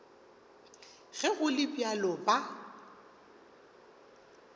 ge go le bjalo ba